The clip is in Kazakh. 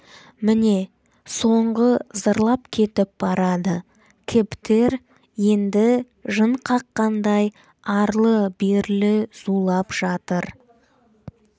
міне соңғы зырлап кетіп барады кэбтер енді жын қаққандай арлы-берлі зулап жатыр